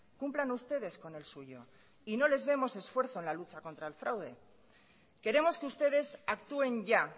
cumplan ustedes con el suyo y no les vemos esfuerzo en la lucha contra el fraude queremos que ustedes actúen ya